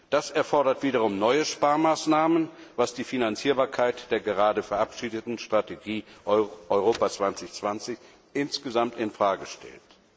Das erfordert wiederum neue Sparmaßnahmen, was die Finanzierbarkeit der gerade verabschiedeten Strategie Europa 2020 insgesamt in Frage stellt.